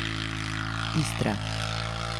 Istra.